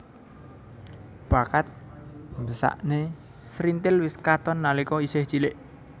Bakat mbeksané srintil wis katon nalika isih cilik